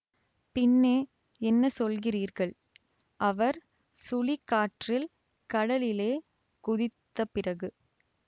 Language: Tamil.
பின்னே என்ன சொல்கிறீர்கள் அவர் சுழிக் காற்றில் கடலிலே குதித்தபிறகு